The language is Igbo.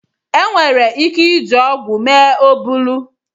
Enwere ike iji ọgụ mee oburu.